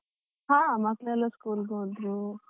ಹಾ, ಮಕ್ಕಳೆಲ್ಲ school ಗೆ ಹೋದ್ರು.